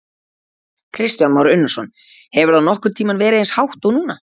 Kristján Már Unnarsson: Hefur það nokkurn tímann verið eins hátt og núna?